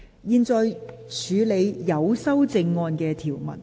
現在處理有修正案的條文。